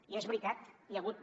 i és veritat hi ha hagut